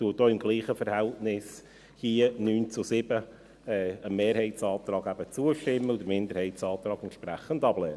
Die FiKo stimmte dem Mehrheitsantrag mit demselben Verhältnis von 9 zu 5 zu und lehnt den Minderheitsantrag entsprechend ab.